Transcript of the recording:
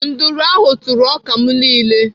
Nduru ahụ tụrụ ọka m niile.